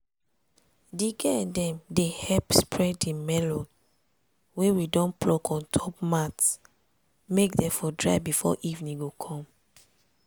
di girl dem dey help spread di melon wey we don pluck on top mat make dem for dry before evening go come.